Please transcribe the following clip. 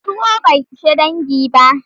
Tuwo bai ishe dangi ba.